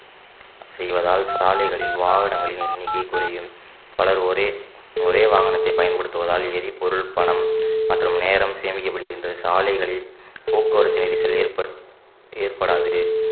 செய்வதால் சாலைகளில் வாகனங்களின் எண்ணிக்கை குறையும் பலர் ஒரே ஒரே வாகனத்தை பயன்படுத்துவதால் ஏறி பொருள் பணம் மற்றும் நேரம் சேமிக்கப்படுகின்றது சாலைகளில் போக்குவரத்து நெரிசல் ஏற்ப்~ ஏற்படாது